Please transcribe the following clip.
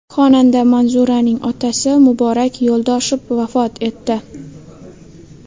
Xonanda Manzuraning otasi Muborak Yo‘ldoshev vafot etdi.